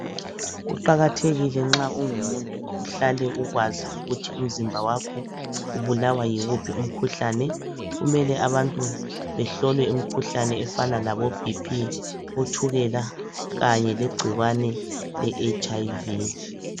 Kuqakathekile nxa ungumuntu uhlale ukwazi ukuthi umzimba wakho ubulawa yiwuphi umkhuhlane , kumele abantu behlolwe imkhuhlane efana labo BP , otshukela kanye legcikwane le HIV